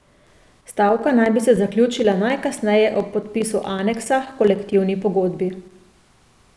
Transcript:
Stavka naj bi se zaključila najkasneje ob podpisu aneksa h kolektivni pogodbi.